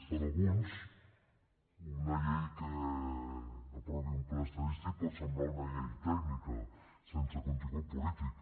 per alguns una llei que aprovi un pla estadístic pot semblar una llei tècnica sense contingut polític